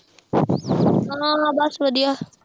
ਹਾਂ ਹਾਂ ਬਸ ਵਧੀਆ